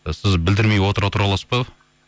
і сіз білдірмей отыра тұра аласыз ба